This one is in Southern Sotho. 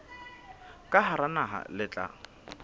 ka hara naha le tla